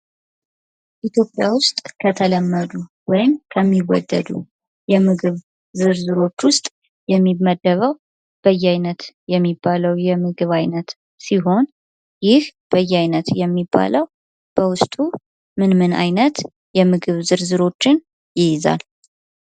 ኢትዮጵያ ውስጥ ከተለመዱ ወይም ከሚወደዱ የምግብ ዝርዝሮች ውስጥ የሚመደበው በየአይነት የሚባለው የምግብ አይነት ሲሆን, ይህ በየአይነት የሚባለው በውስጡ ምን ምን አይነት የምግብ ዝርዝሮች ይይዛል።